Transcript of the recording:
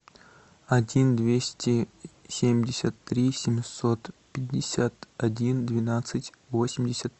один двести семьдесят три семьсот пятьдесят один двенадцать восемьдесят